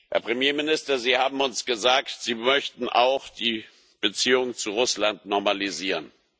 Herr Premierminister, Sie haben uns gesagt, Sie möchten auch die Beziehungen zu Russland normalisieren.